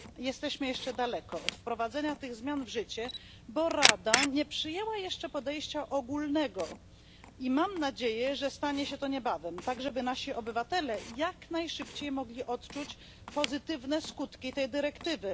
Jesteśmy jeszcze daleko od wprowadzenia tych zmian w życie, bo Rada nie przyjęła jeszcze podejścia ogólnego, lecz mam nadzieję, że stanie się to niebawem, aby nasi obywatele mogli jak najszybciej odczuć pozytywne skutki tej dyrektywy.